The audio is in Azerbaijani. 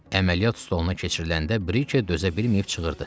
Əməliyyat stoluna keçiriləndə Brike dözə bilməyib çığırdı.